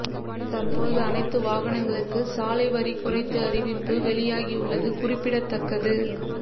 தற்போது அனைத்து வாகனங்களுக்கு சாலை வரி குறைத்து அறிவிப்பு வெளியாகியுள்ளது குறிப்பிடத்தக்கது